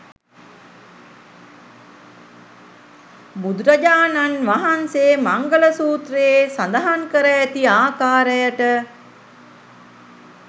බුදුරජාණන් වහන්සේ මංගල සූත්‍රයේ සඳහන් කර ඇති ආකාරයට